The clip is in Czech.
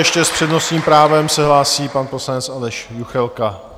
Ještě s přednostním právem se hlásí pan poslanec Aleš Juchelka.